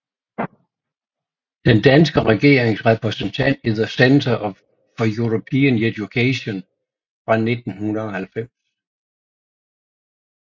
Den danske regerings repræsentant i The Centre for European Education fra 1990